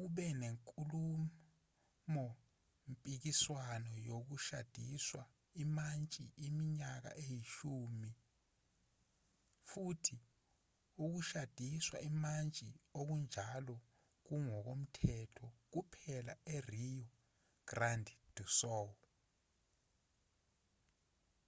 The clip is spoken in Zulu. ube nenkulumo-mpikiswano yokushadiswa imantshi iminyaka eyishumi futhi ukushadiswa imantshi okunjalo kungokomthetho kuphela e-rio grande do sul